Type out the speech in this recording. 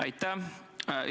Aitäh!